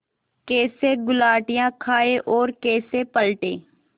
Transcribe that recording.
कैसे गुलाटियाँ खाएँ और कैसे पलटें